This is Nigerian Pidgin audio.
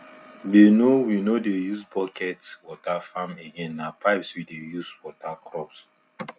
we no we no dey use bucket water farm again na pipes we dey use water crops